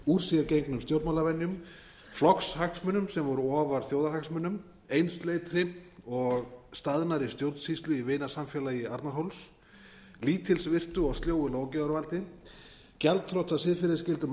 úr sér gengnum stjórnmálavenjum flokkshagsmunum sem voru ofar þjóðarhagsmunum einsleitri og staðnaðri stjórnsýslu í vinasamfélagi arnarhóls lítilsvirtu og sljóu löggjafarvaldi gjaldþrota siðferðisgildum